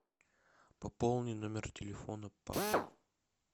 пополни номер телефона папы